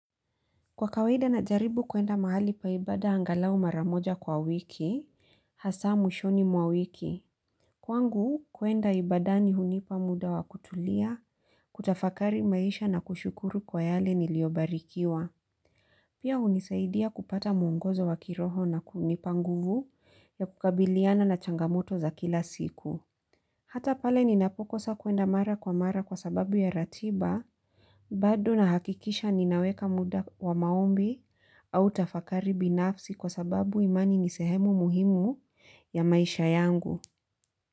Kwa kawaida najaribu kuenda mahali pa ibada angalau mara moja kwa wiki, hasaa mwishoni mwa wiki. Kwangu, kuenda ibadani hunipa muda wa kutulia, kutafakari maisha na kushukuru kwa yale niliobarikiwa. Pia hunisaidia kupata mwongozo wa kiroho na kunipa nguvu ya kukabiliana na changamoto za kila siku. Hata pale ninapokosa kuenda mara kwa mara kwa sababu ya ratiba. Bado nahakikisha ninaweka muda wa maombi au tafakari binafsi kwa sababu imani nisehemu muhimu ya maisha yangu.